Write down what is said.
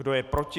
Kdo je proti?